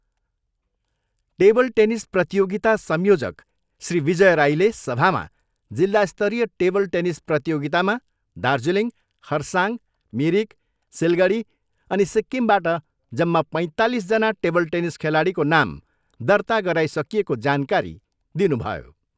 Table tennis प्रतियोगिता संयोजक श्री विजय राईले सभामा जिल्ला स्तरीय टेबल टेनिस प्रतियोगितामा दार्जिलिङ, खरसाङ, मिरिक, सिलगडी अनि सिक्किमबाट जम्मा पैँतालिसजना टेबल टेनिस खेलाडीको नाम दर्ता गराइसकिएको जानकारी दिनुभयो।